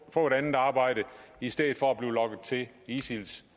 få et andet arbejde i stedet for at blive lokket af isils